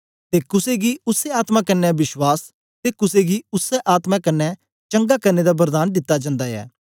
ते कुसे गी उसै आत्मा कन्ने विश्वास ते कुसे गी उसै आत्मा कन्ने चंगा करने दा वरदान दित्ता जंदा ऐ